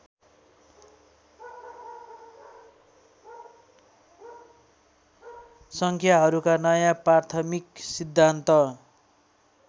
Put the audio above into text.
सङ्ख्याहरूका नयाँ प्राथमिक सिद्धान्त